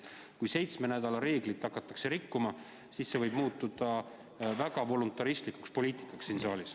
Kui seitsme nädala reeglit hakatakse rikkuma, siis see võib muutuda väga voluntaristlikuks poliitikaks siin saalis.